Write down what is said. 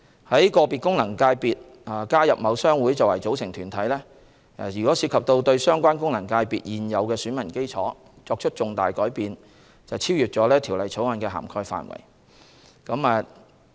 在個別功能界別中加入某商會作為組成團體，涉及對相關功能界別現有選民基礎作出重大改變，超越了《條例草案》的涵蓋範圍。